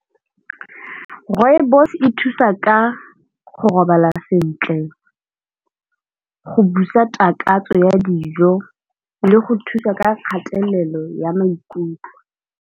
Rooibos e thusa ka go robala sentle, go busa takatso ya dijo le go thusa ka kgatelelo ya maikutlo.